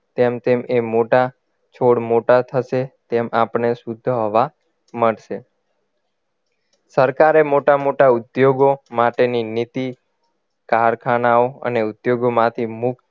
તેમ તેમ એ મોટા છોડ મોટા થશે તેમ આપણને શુદ્ધ હવા મળશે સરકારે મોટા મોટા ઉદ્યોગો માટેની નીતિ કારખાનાઓ અને ઉદ્યોગોમાંથી મુક્ત